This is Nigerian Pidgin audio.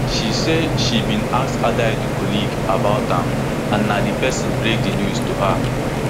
she say she bin ask adaidu colleague about am and na di pesin break di news to her